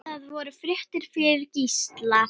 Það voru fréttir fyrir Gísla.